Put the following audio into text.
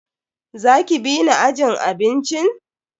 Za ki bi ni ajin abincin?